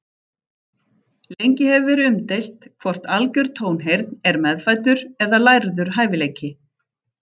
Lengi hefur verið umdeilt hvort algjör tónheyrn er meðfæddur eða lærður hæfileiki.